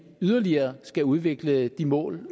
yderligere skal udvikle de mål